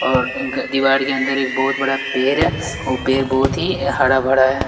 और दीवार के अंदर एक बहुत बड़ा पेर है वो पेर बहुत ही हड़ा -भड़ा है।